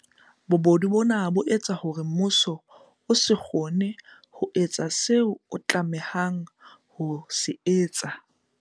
Bobodu bona bo etsa hore mmuso o se kgone ho etsa seo o tlameha ho se etsa.